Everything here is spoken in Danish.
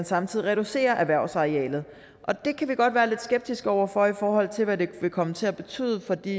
samtidig reducerer erhvervsarealet det kan vi godt være lidt skeptiske over for i forhold til hvad det vil komme til at betyde for de